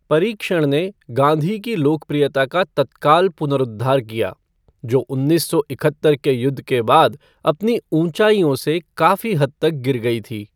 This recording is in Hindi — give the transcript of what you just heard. परीक्षण ने गाँधी की लोकप्रियता का तत्काल पुनरुद्धार किया, जो उन्नीस सौ इकहत्तर के युद्ध के बाद अपनी ऊँचाइयों से काफी हद तक गिर गयी थी।